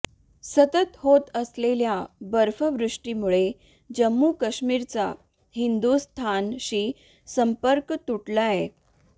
सतत होत असलेल्या बर्फवृष्टीमुळे जम्मू कश्मीरचा हिंदुस्थानशी संपर्क तुटलाय